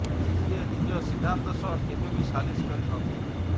ଯିଏ ନିଜ ସିଦ୍ଧାନ୍ତ ସହ କେବେ ବି ସାଲିସ କରି ନଥିଲେ